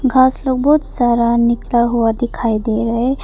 घास लोग बहोत सारा निकला हुआ दिखाई दे रहा है।